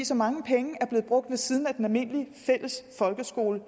så mange penge er blevet brugt ved siden af den almindelige fælles folkeskole